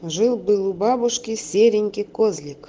жил-был у бабушки серенький козлик